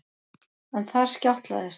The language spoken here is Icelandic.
En þar skjátlaðist